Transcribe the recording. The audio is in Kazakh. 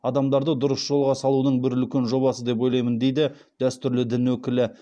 адамдарды дұрыс жолға салудың бір үлкен жобасы деп ойлаймын дейді дәстүрлі дін өкілі